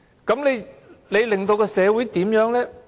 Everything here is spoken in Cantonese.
這令社會變得怎樣呢？